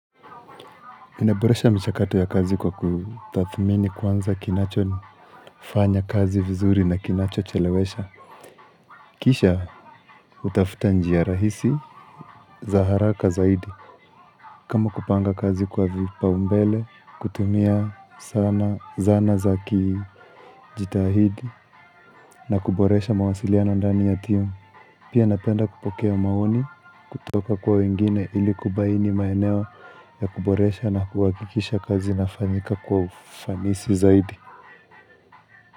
Minaboresha mchakato ya kazi kwa kutathmini kwanza kinacho fanya kazi vizuri na kinacho chelewesha. Kisha hutafuta njia rahisi za haraka zaidi. Kama kupanga kazi kwa vipa umbele, kutumia sana zana za kijitahidi na kuboresha mawasiliano ndani ya timu. Pia napenda kupokea maoni kutoka kwa wengine ili kubaini maeneo ya kuboresha na kuhakikisha kazi inafanyika kwa ufanisi zaidi.